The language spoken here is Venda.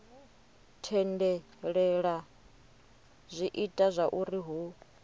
tendelela zwi ita zwauri hu